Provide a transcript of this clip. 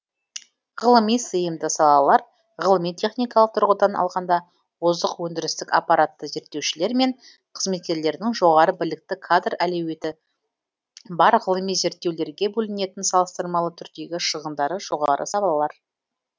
ғылыми сыйымды салалар ғылыми техникалық тұрғыдан алғанда озық өндірістік аппараты зерттеушілер мен қызметкерлердің жоғары білікті кадр әлеуеті бар ғылыми зерттеулерге бөлінетін салыстырмалы түрдегі шығындары жоғары салалар